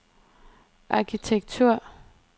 arkitektur